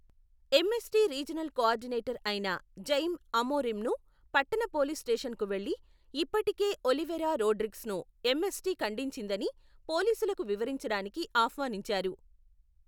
MST regional coordinator అయిన Jaime అమోరిమ్ను పట్టణ పోలీస్ స్టేషన్కు వెళ్లి, ఇప్పటికే ఒలివెరా రోడ్రిగ్స్ను ఎంఎస్టి ఖండించిందని పోలీసులకు వివరించడానికి ఆహ్వానించారు.